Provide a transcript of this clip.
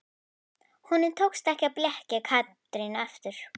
Honum tókst ekki að blekkja Katrínu aftur.